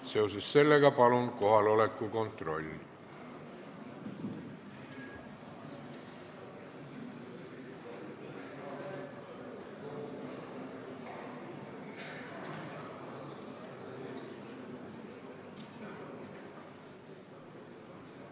Seoses sellega palun teeme kohaloleku kontrolli!